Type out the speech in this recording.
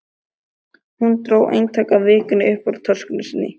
Hún dró eintak af Vikunni upp úr töskunni sinni.